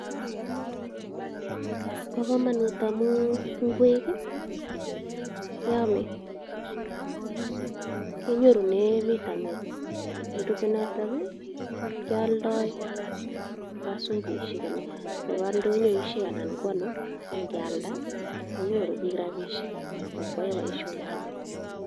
Bokomonut amun ing'wek keome, kinyorunen vitamin, nerube notok kialdoi kobaa sokoishek anan koba ndonyoishek anan ko anoo ng'ialda konyoru biik rabishek ak ko yoe boishonik alak.